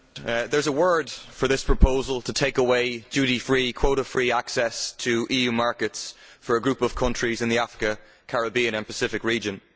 Mr President, there is a word for this proposal to take away duty free quota free access to EU markets for a group of countries in the African, Caribbean and Pacific region.